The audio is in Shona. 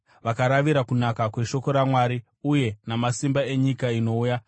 vakaravira kunaka kweshoko raMwari uye namasimba enyika inouya,